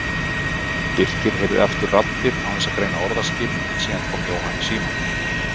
Birkir heyrði aftur raddir án þess að greina orðaskil en síðan kom Jóhann í símann.